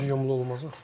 Gözü yumulu olmaz axı.